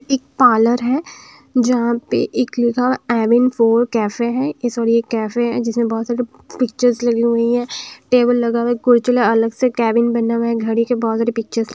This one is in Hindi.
एक पार्लर है जहाँ पे एक लिखा हुआ है एविन फोर कैफे है ए सॉरी एक कैफे है जिसमें बहुत सारे पिक्चर्स लगी हुई है टेबल लगा हुआ है कुर्चला अलग से कैबिन बना हुआ है घड़ी के बहुत सारे पिक्चर्स --